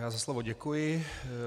Já za slovo děkuji.